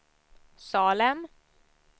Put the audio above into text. Salem